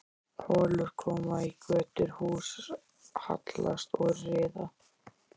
Holur koma í götur, hús hallast og riða.